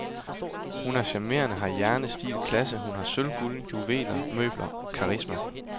Hun er charmerende, har hjerne, stil, klasse, hun har sølv, guld, juveler, møbler, karisma.